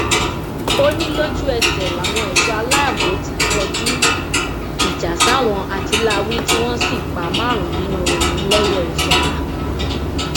ó ní lójúẹsẹ làwọn ẹṣọ aláàbò ti kọjú ìjà sáwọn àtìláàwí tí wọn sì pa márùnún nínú wọn lẹyẹòsọkà